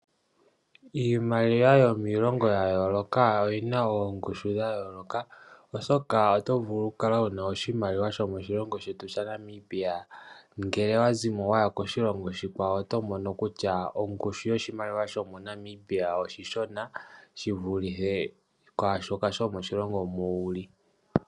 Iimaliwa yomilongo ya yooloka oyina oongushu dha yooloka oshoka oto vulu okukala wuna oshimaliwa shomo shilongo shetu shaNamibia ngele owazimo waya koshilongo oshikwawo oto mono kutya ongushu yoshimaliwa shomo Namibia oshishona shivulithe kwasoka shomoshilongo moka wuli.